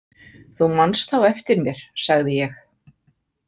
Þú manst þá eftir mér, sagði ég.